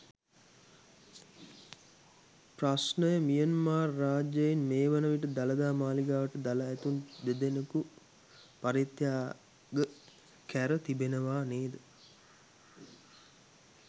ප්‍රශ්නයමියන්මාර් රජයෙන් මේ වන විට දළදා මාළිගාවට දළ ඇතුන් දෙදෙනකු පරිත්‍යාග කැර තිබෙනවා නේද?